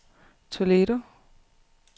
Toledo